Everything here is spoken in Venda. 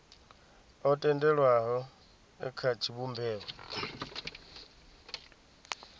o tendelwaho e kha tshivhumbeo